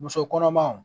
Muso kɔnɔmaw